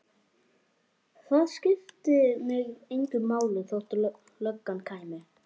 Það skipti mig engu máli þótt löggan kæmi.